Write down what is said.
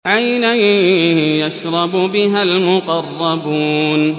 عَيْنًا يَشْرَبُ بِهَا الْمُقَرَّبُونَ